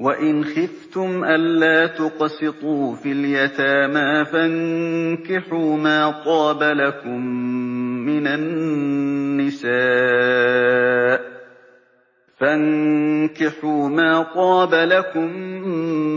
وَإِنْ خِفْتُمْ أَلَّا تُقْسِطُوا فِي الْيَتَامَىٰ فَانكِحُوا مَا طَابَ لَكُم